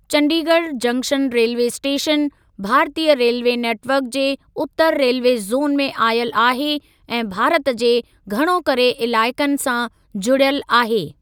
Chandigarh junction railway station, भारतीय railway network जे उत्तर रेलवे ज़ोन में आयल आहे ऐं भारत जे घणो करे इलाइकनि सां जुड़ियल आहे।